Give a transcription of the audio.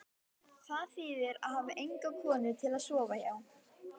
Það þýðir að hafa enga konu til að sofa hjá.